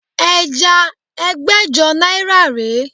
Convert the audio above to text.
Ẹja ẹgbẹ́jọ náírà rè é